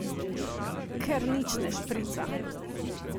Ker nič ne šprica!